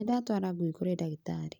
Nĩndatwara ngui kũrĩ ndagĩtarĩ